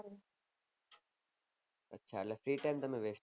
હા એટલે free time તમે vest કરો